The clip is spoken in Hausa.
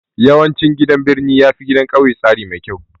Yawancin gidan birni yafi gidan kauye tsari mai kyau